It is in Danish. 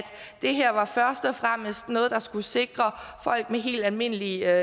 det her først og fremmest var noget der skulle sikre folk med helt almindelige